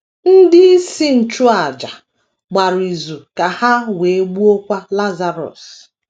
“ Ndị isi nchụàjà gbara izu ka ha wee gbuokwa Lazarọs. ”